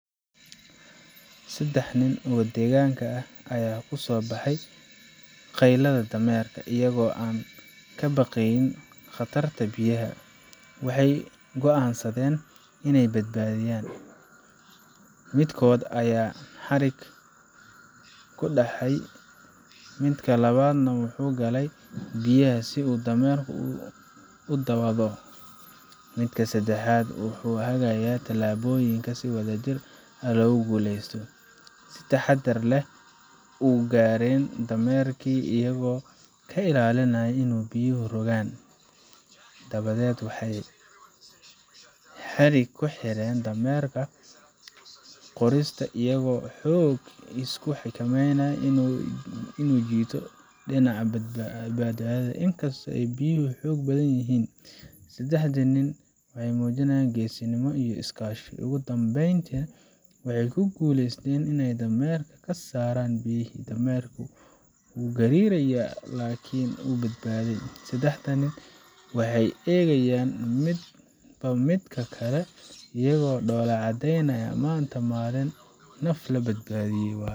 Saddex nin oo degaanka ah ayaa ku soo baxay qaylada dameerka. Iyagoo aan ka baqayn khatarta biyaha, waxay go’aansadeen inay badbaadiyaan. Midkood ayaa xadhig , midka labaad wuxuu galay biyaha si uu dameerka ugu dhawaado, midka saddexaadna wuxuu hagayaa tallaabooyinka si wadajir ah loogu guuleysto. si taxadar leh u gaareen dameerkii, iyagoo ka ilaalinaya in biyuhu rogaan. Dabadeed, waxay xadhigii ku xireen dameerka qoortiisa, iyagoo si xoog iyo xikmad leh ugu jiiday dhinaca badbaadada. Inkastoo ay biyuhu xoog badnaayeen, saddexdii nin waxay muujinayeen geesinimo iyo iskaashi. Ugu dambeyntii, waxay ku guuleysteen inay dameerka ka saaraan biyihii. Dameerkii wuu gariirayaa, laakiin wuu badbaaday. Saddexda nin waxay eegayaan midba midka kale iyagoo dhoolla caddeynaya maanta waa maalin naf la badbaadiyay.